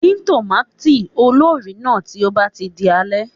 Dín tòmâtì olórìí náà tí ó bá ti di alẹ́.